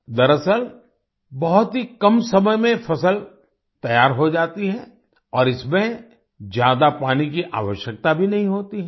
दरअसल बहुत ही कम समय में फसल तैयार हो जाती है और इसमें ज्यादा पानी की आवश्यकता भी नहीं होती है